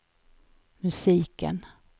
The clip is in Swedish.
musiken